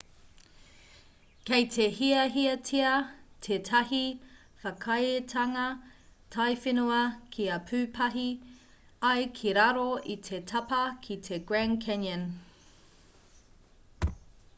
kei te hiahiatia tētahi whakaaetanga taiwhenua kia pūpahi ai ki raro i te tapa ki te grand canyon